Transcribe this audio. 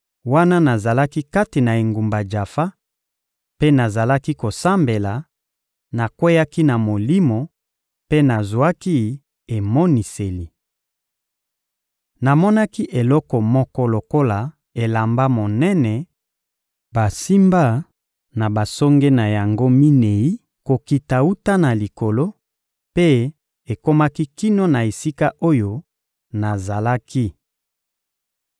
— Wana nazalaki kati na engumba Jafa mpe nazalaki kosambela, nakweyaki na Molimo mpe nazwaki emoniseli. Namonaki eloko moko lokola elamba monene basimba na basonge na yango minei kokita wuta na Likolo, mpe ekomaki kino na esika oyo nazalaki.